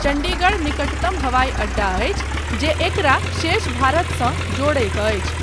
चण्डीगढ़ निकटतम हवाईअड्डा अछि जे एकरा शेष भारतसँ जोड़ैत अछि।